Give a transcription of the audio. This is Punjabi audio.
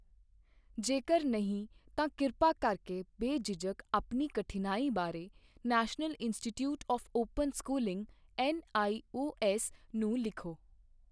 ਜੇਕਰ ਨਹੀਂ ਤਾਂ ਕਿਰਪਾ ਕਰਕੇ ਬੇਝਿਜਕ ਆਪਣੀ ਕਠਿਨਾਈ ਬਾਰੇ national institute of open schooling NIOS. ਨੂੰ ਲਿਖੋ।